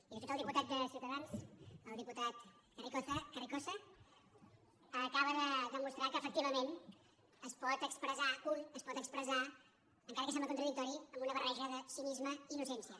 i de fet el diputat de ciutadans el diputat carrizosa acaba de demostrar que efectivament un es pot expressar encara que sembla contradictori amb una barreja de cinisme i d’innocència